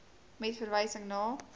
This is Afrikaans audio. met verwysing na